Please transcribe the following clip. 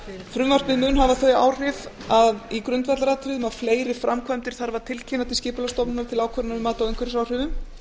frumvarpið mun hafa þau áhrif að í grundvallaratriðum að fleiri framkvæmdir þarf að tilkynna til skipulagsstofnunar til ákvörðunar um mat á umhverfisáhrifum